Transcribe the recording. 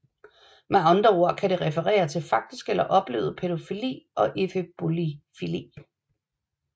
Med andre ord kan det referere til faktisk eller oplevet pædofili og efebofili